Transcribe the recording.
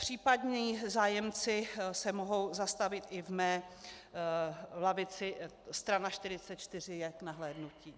Případní zájemci se mohou zastavit i v mé lavici, strana 44 je k nahlédnutí.